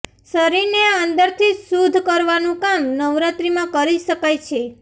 શરીરને અંદરથી શુદ્ધ કરવાનું કામ નવરાત્રીમાં કરી શકાય છે